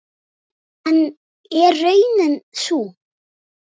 En er raunin sú?